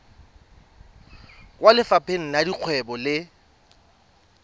kwa lefapheng la dikgwebo le